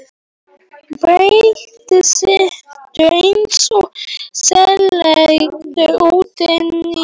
Berti situr eins og sleginn út inni í stofu.